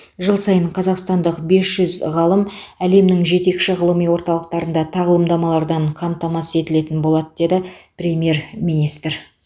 жыл сайын қазақстандық бес жүз ғалым әлемнің жетекші ғылыми орталықтарында тағылымдамалардан қамтамасыз етілетін болады деді премьер министр